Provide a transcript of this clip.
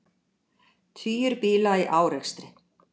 Tugir bíla í árekstri